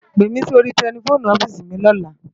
Pémi si óri tèlèfóni ofisi mi lòlá